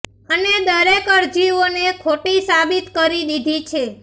અને દરેક અરજીઓ ને ખોટી સાબિત કરી દીધી છે